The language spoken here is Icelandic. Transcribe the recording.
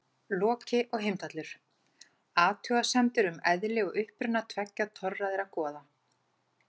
Loki og Heimdallur: Athugasemdir um eðli og uppruna tveggja torræðra goða.